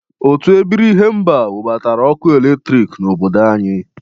Otu ebiri ihemba nwebatara ọkụ eletriki n'obodo anyị.